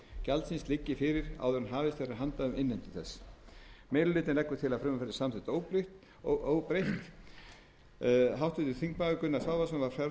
gjaldsins liggi fyrir áður en hafist verður handa við innheimtu þess meiri hlutinn leggur til að frumvarpið verði samþykkt óbreytt háttvirtir þingmenn gunnar svavarsson var fjarverandi við afgreiðslu